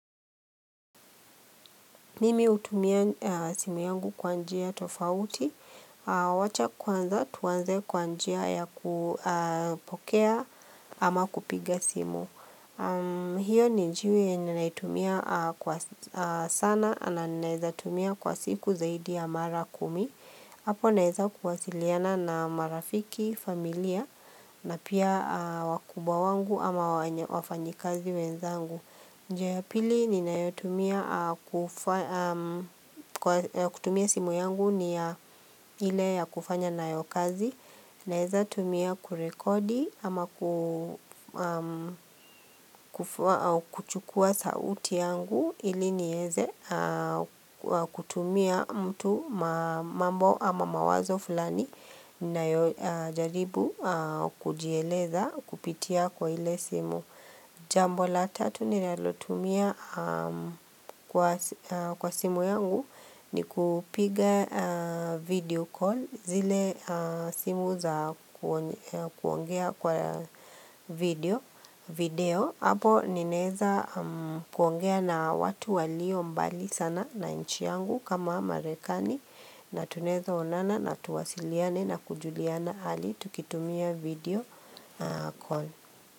Mimi hutumia simu yangu kwa njia tofauti, wacha kwanza tuanze kwa njia ya kupokea ama kupiga simu. Hio ni njia yenye naitumia kwa sana na naweza itumia kwa siku zaidi ya mara kumi. Hapo naweza kuwasiliana na marafiki, familia na pia wakubwa wangu ama wafanyikazi wenzangu. Njia ya pili ninayotumia kutumia simu yangu ni ya ile ya kufanya nayo kazi Naweza tumia kurekodi ama kuchukua sauti yangu ili nieze kutumia mtu mambo ama mawazo fulani ninayojaribu kujieleza kupitia kwa ile simu Jambo la tatu ninalotumia kwa simu yangu ni kupiga video call zile simu za kuongea kwa video, video hapo ninaeza kuongea na watu walio mbali sana na nchi yangu kama marekani na tunaweza onana na tuwasiliane na kujuliana hali tukitumia video call.